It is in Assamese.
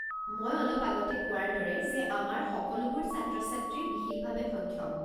মই অলপ আগতে কোৱাৰ দৰে যে আমাৰ সকলোবোৰ ছাত্ৰ-ছাত্ৰীয়ে বিশেষভাৱে সক্ষম।